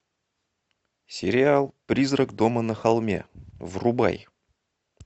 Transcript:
сериал призрак дома на холме врубай